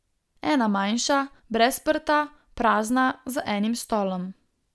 Ena manjša, brez prta, prazna, z enim stolom.